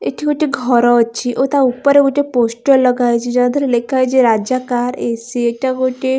ଏଠି ଗୋଟେ ଘର ଅଛି ଓ ତା ଉପରେ ଗୋଟେ ପୋଷ୍ଟର ଲଗା ହେଇଛି ଯାହା ଦେହରେ ଲେଖା ହେଇଛି ରାଜା କାର୍‌ ଏ_ସି ଏଟା ଗୋଟେ --